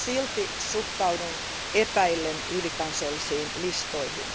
Silti suhtaudun epäillen ylikansallisiin listoihin.